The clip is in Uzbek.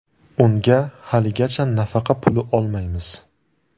Unga haligacha nafaqa puli olmaymiz.